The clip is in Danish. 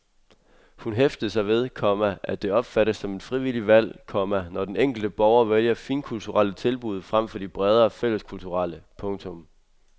Hun hæftede sig ved, komma at det opfattes som et frivilligt valg, komma når den enkelte borger vælger finkulturelle tilbud frem for de bredere fælleskulturelle. punktum